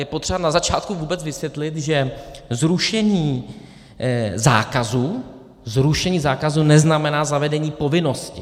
Je potřeba na začátku vůbec vysvětlit, že zrušení zákazu neznamená zavedení povinnosti.